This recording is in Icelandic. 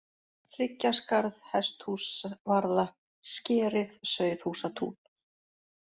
Hryggjaskarð, Hesthúsvarða, Skerið, Sauðhúsatún